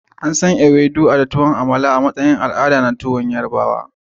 Ansan Ewedu da tuwon amala a matsayin tuwon al'ada na yarubawa.